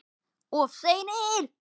Of seinir!